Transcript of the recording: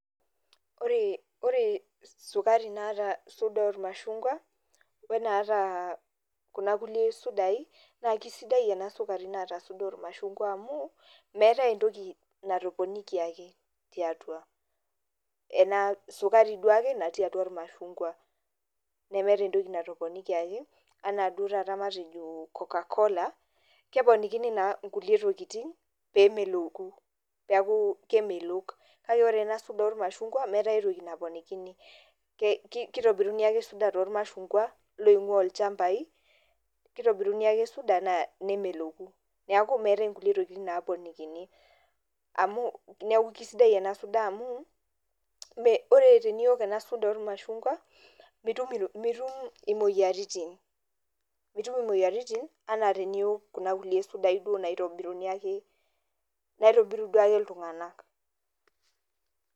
Ore sukari naata suda ormashungwa, wenaata kuna kulie sudai, naa kesidai enaata suda ormashungwa amu, meetai entoki natoponikiaki tiatua. Ena sukari duo ake natii atua ormashungwa. Nemeeta entoki natoponikiaki, anaa duo taata matejo Coca-Cola, keponikini naa nkulie tokiting, pemeloku. Peku kemelok. Kake ore ena suda ormashungwa, meeta aitoki naponikini. Kitobiruni ake suda tormashungwa, loing'ua ilchambai, kitobiruni ake suda naa nemeloku. Neeku meetae inkulie tokiting naponikini. Amu, neeku kesidai ena suda amu, ore teniok ena suda ormashungwa, mitum imoyiaritin, mitum imoyiaritin, enaa teniok kuna kulie sudai duo naitobiruni ake, naitobiru duo ake iltung'anak.